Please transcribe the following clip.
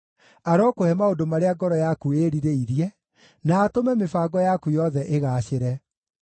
Arokũhe maũndũ marĩa ngoro yaku ĩĩrirĩirie, na atũme mĩbango yaku yothe ĩgaacĩre.